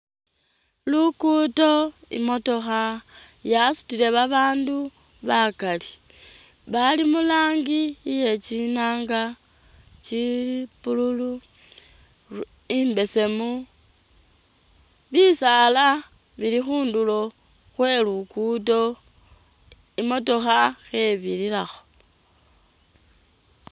Lugudo,i motokha yasutile ba bandu bakali, bali mu rangi iye tsinanga tsili blue,i mbesemu, bisaala bili khundulo khwe lugudo imotokha khe birirakho